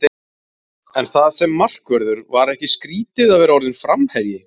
En það sem markvörður, var ekki skrítið að vera orðinn framherji?